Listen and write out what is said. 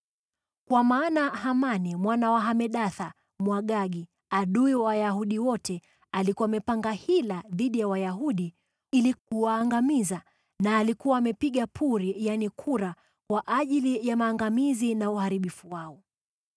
Kwa maana Hamani mwana wa Hamedatha Mwagagi, adui wa Wayahudi wote, alikuwa amepanga hila dhidi ya Wayahudi ili kuwaangamiza, na alikuwa amepiga puri (yaani kura) kwa ajili ya maangamizi na uharibifu wao.